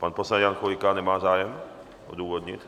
Pan poslanec Jan Chvojka nemá zájem odůvodnit?